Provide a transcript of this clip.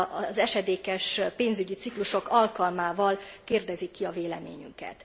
az esedékes pénzügyi ciklusok alkalmával kérdezik ki a véleményünket.